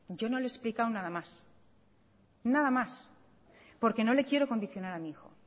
yo no le he explicado nada mas nada más porque no le quiero condicionar a mi hijo